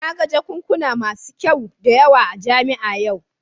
Na ga jakunkuna masu kyau da yawa a jami'a a yau